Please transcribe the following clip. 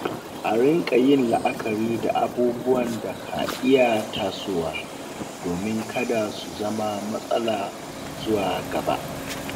A riƙa yin la’akari da abubuwan da ka iya tasowa domin kada su zama matsala zuwa gaba.